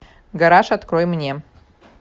гараж открой мне